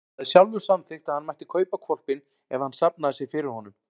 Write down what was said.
Hann hafði sjálfur samþykkt að hann mætti kaupa hvolpinn ef hann safnaði sér fyrir honum.